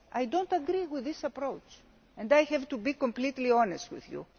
I do not agree with this approach and I have to be completely honest with you.